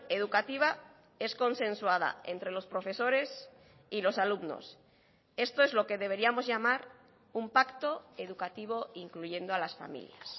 educativa es consensuada entre los profesores y los alumnos esto es lo que deberíamos llamar un pacto educativo incluyendo a las familias